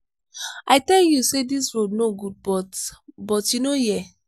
i tell you say dis road no good but but you no hear.